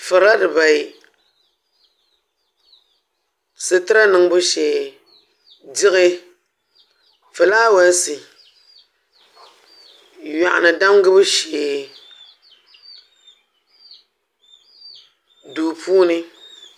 Furila dibayi sitira niŋbu shee diɣi fulaaweesi yoɣuni damgibu shee duu puuni